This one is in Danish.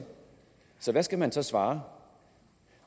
så hvad skal man så svare